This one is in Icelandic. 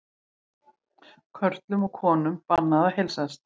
Körlum og konum bannað að heilsast